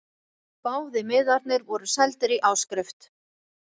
Báðir miðarnir voru seldir í áskrift